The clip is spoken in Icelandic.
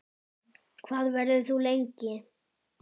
Hvað verður þú lengi?